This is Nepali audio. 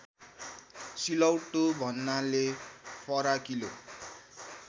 सिलौटो भन्नाले फराकिलो